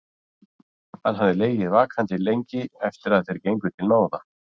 Hann hafði legið vakandi lengi eftir að þeir gengu til náða.